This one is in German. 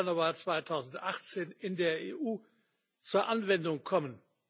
1. Januar 2018 in der EU zur Anwendung kommen.